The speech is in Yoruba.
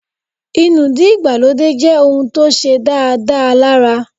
Inúdí ìgbàlódé jẹ́ ohùn tó ṣe dáadáa lára